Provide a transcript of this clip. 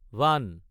ভান